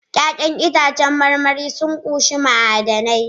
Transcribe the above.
Ya'yan itãcen marmari sun ƙunshi ma'adanai